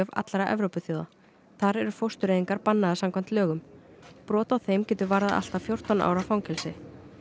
allra Evrópuþjóða þar eru fóstureyðingar bannaðar samkvæmt lögum brot á þeim getur varðað allt að fjórtán ára fangelsi